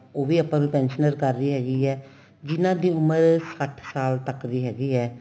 ਉਹ ਵੀ ਆਪਾਂ ਨੂੰ pensionable ਕਰ ਰਹੀ ਹੈਗੀ ਏ ਜਿੰਨਾ ਦੀ ਉਮਰ ਸੱਠ ਸਾਲ ਤੱਕ ਦੀ ਹੈਗੀ ਏ